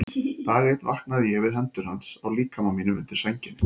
Dag einn vaknaði ég við hendur hans á líkama mínum undir sænginni.